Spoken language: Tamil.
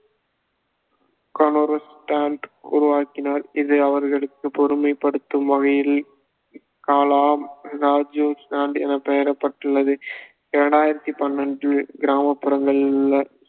உருவாக்கினார் இது அவர்களுக்கு பெருமைப்படுத்தும் வகையில் கலாம் ராஜூ என பெயர் பட்டுள்ளது இரண்டாயிரத்தி பன்னெண்டில் கிராமப்புறங்களில் உள்ள